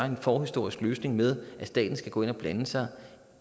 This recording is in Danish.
en forhistorisk løsning med at staten skal gå ind og blande sig